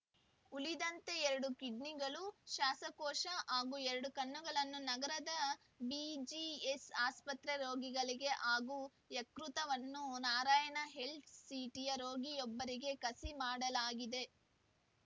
ಉಳಿದಂತೆ ಎರಡು ಕಿಡ್ನಿಗಳು ಸಾಸಕೋಶ ಹಾಗೂ ಎರಡು ಕಣ್ಣುಗಳನ್ನು ನಗರದ ಬಿಜಿಎಸ್‌ ಆಸ್ಪತ್ರೆ ರೋಗಿಗಳಿಗೆ ಹಾಗೂ ಯಕೃತನ್ನು ನಾರಾಯಣ ಹೆಲ್ತ್‌ ಸಿಟಿಯ ರೋಗಿಯೊಬ್ಬರಿಗೆ ಕಸಿ ಮಾಡಲಾಗಿದೆ